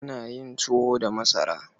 Ana yin tuwo da masara.